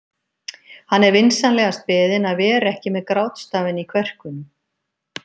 Hann er vinsamlegast beðinn að vera ekki með grátstafinn í kverkunum.